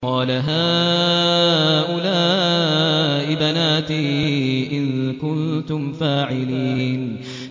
قَالَ هَٰؤُلَاءِ بَنَاتِي إِن كُنتُمْ فَاعِلِينَ